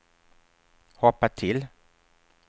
hoppa till